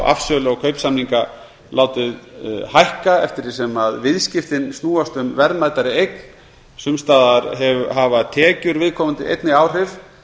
afsöl og kaupsamninga látið hækka eftir því sem viðskiptin snúast um verðmætari eign sums staðar hafa tekjur viðkomandi einnig áhrif